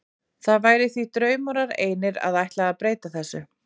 Það væri því draumórar einir að ætla að breyta þessu.